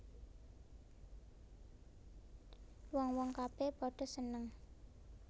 Wong wong kabè padha seneng